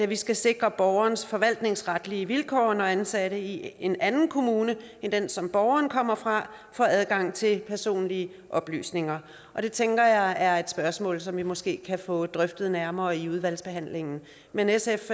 vi skal sikre borgernes forvaltningsretlige vilkår når ansatte i en anden kommune end den som borgerne kommer fra får adgang til personlige oplysninger det tænker jeg er et spørgsmål som vi måske kan få drøftet nærmere i udvalgsbehandlingen men sf